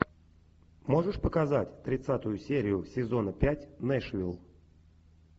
можешь показать тридцатую серию сезона пять нэшвилл